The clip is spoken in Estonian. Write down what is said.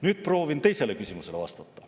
Nüüd proovin vastata teisele küsimusele.